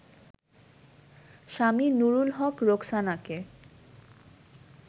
Swami Nurul Haque রোকসানাকে